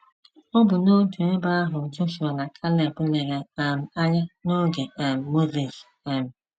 Ọ bụ n’otu ebe ahụ Jọshụa na Keleb lere um anya n’oge um Mozis. um